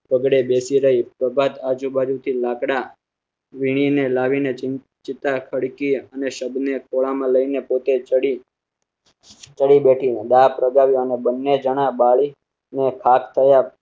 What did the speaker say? વગડે બેઠી રહી. પ્રભાતે આજુબાજુ થી લાકડાં વીણી ને લાવીને ચિતા ખડકી અને શબ ને ખોળા માં લઈ ને પોતે ચડી. ચડી બેઠી દા પ્રગટા વ્યો અને બન્ને જણાં બળી ને ખાખ થયાં.